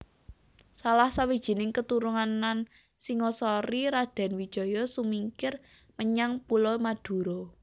Salah sawijining keturunan Singasari Raden Wijaya sumingkir menyang Pulo Madura